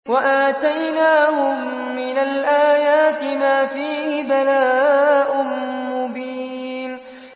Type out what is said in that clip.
وَآتَيْنَاهُم مِّنَ الْآيَاتِ مَا فِيهِ بَلَاءٌ مُّبِينٌ